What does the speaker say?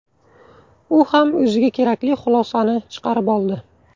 U ham o‘ziga kerakli xulosani chiqarib oldi.